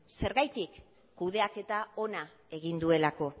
zergatik kudeaketa ona egin duelako